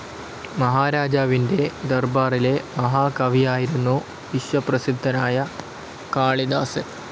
മഹാരാജാവിന്റെ ദർബാറിലെ മഹാകവിയായിരുന്നു വിശ്വപ്രസിദ്ധനായ കാളിദാസൻ.